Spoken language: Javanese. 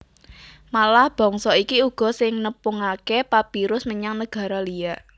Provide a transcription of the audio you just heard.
Malah bangsa iki uga sing nepungaké papyrus menyang negara liya